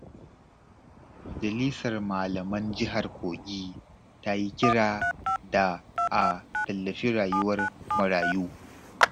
Majalisar Malaman Jihar Kogi ta yi kira da a tallafi rayuwar marayu.